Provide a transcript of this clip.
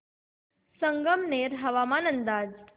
संगमनेर हवामान अंदाज